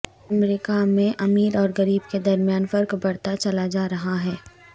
امریکہ میں امیر اور غریب کے درمیان فرق بڑھتا چلا جا رہا ہے